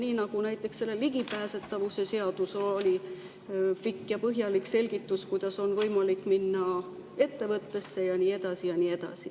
Nii nagu näiteks selles ligipääsetavuse seaduses oli pikk ja põhjalik selgitus, kuidas on võimalik minna ettevõttesse ja nii edasi ja nii edasi.